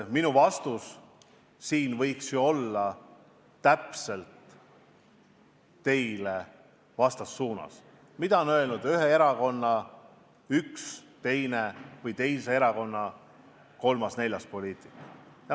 Minu vastus võiks ju olla samasugune, ma võiks viidata, mida on öelnud ühe erakonna üks või teine esindaja või kolmas-neljas poliitik mõnest teisest erakonnast.